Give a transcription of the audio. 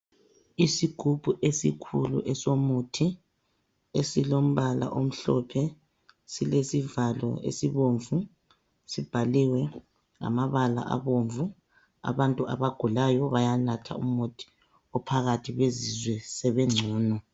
Isigubhu esikhulu esomuthi esilombala omhlophe silesivalo esibomvu sibhaliwe ngamabala abomvu. Abantu abagulayo bayanatha umuthi ophakathi bezizwe sebengcono.